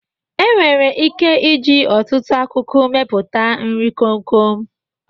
E nwere ike ịji ọtụtụ akụkụ meputa nri komkom.